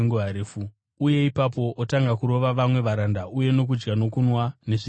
uye ipapo otanga kurova vamwe varanda uye nokudya nokunwa nezvidhakwa.